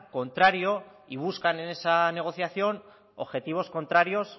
contrario y buscan en esa negociación objetivos contrarios